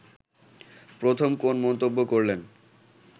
প্রথম কোন মন্তব্য করলেন